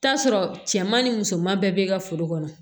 Taa sɔrɔ cɛman ni musoman bɛɛ be ka foro kɔnɔ